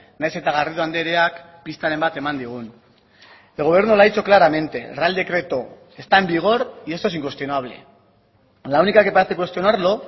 nahiz eta garrido andreak pistaren bat eman digun el gobierno lo ha dicho claramente el real decreto está en vigor y esto es incuestionable la única que parece cuestionarlo